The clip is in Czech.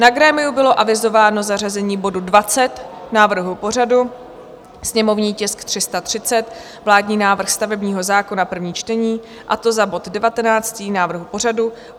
Na grémiu bylo avizováno zařazení bodu 20 návrhu pořadu, sněmovní tisk 330, vládní návrh stavebního zákona, první čtení, a to za bod 19 návrhu pořadu.